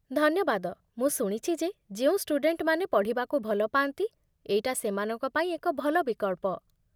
ଧନ୍ୟବାଦ, ମୁଁ ଶୁଣିଛି ଯେ ଯେଉଁ ଷ୍ଟୁଡେଣ୍ଟମାନେ ପଢ଼ିବାକୁ ଭଲ ପାଆନ୍ତି, ଏଇଟା ସେମାନଙ୍କ ପାଇଁ ଏକ ଭଲ ବିକଳ୍ପ